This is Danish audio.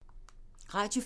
Radio 4